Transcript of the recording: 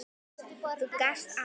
Þú gast allt.